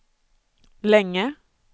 länge